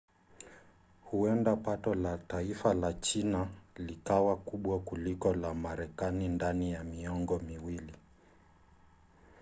huenda pato la taifa la china likawa kubwa kuliko la marekani ndani ya miongo miwili